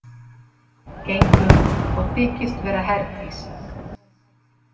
Geng um og þykist vera Herdís.